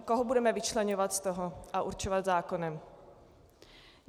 Koho budeme vyčleňovat z toho a určovat zákonem?